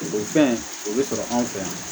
O fɛn o bɛ sɔrɔ anw fɛ yan